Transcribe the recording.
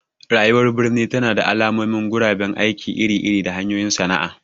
Rayuwar birni tana da alamun guraben aiki iri-iri da hanyoyin sana'a.